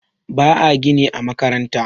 ba a gini a makabarta